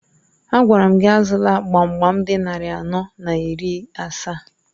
Agwara m gị azụla gbam gbam dị narị anọ na iri asaa!